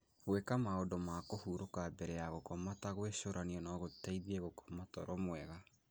Gwĩka maũndũ ma kũhurũka mbere ya gũkoma ta gwĩcũrania no gũteithie gũkoma toro mwega.